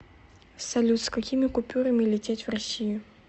салют с какими купюрами лететь в россию